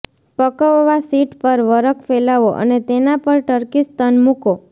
પકવવા sheet પર વરખ ફેલાવો અને તેના પર ટર્કી સ્તન મૂકો